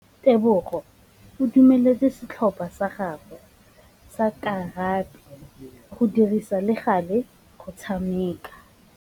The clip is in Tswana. Tebogô o dumeletse setlhopha sa gagwe sa rakabi go dirisa le galê go tshameka.